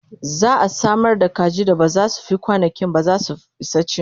za'a Samar da kaji da ba zai Fi kwanankinba zasu Isa ci